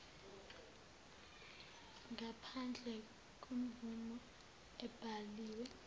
ngaphandle kwemvume ebhaliwe